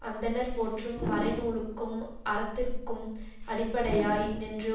அந்தணர் போற்றும் மறைநூலுக்கும் அறத்திற்கும் அடிப்படையாய் நின்று